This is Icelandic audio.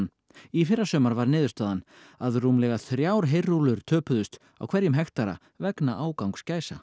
í fyrrasumar var niðurstaðan að rúmlega þrjár heyrúllur töpuðust á hverjum hektara vegna ágangs gæsa